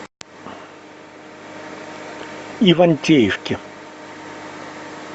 ивантеевке